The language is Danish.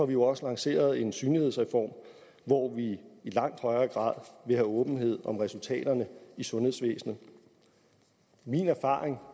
vi jo også lanceret en synlighedsreform hvor vi i langt højere grad vil have åbenhed om resultaterne i sundhedsvæsenet min erfaring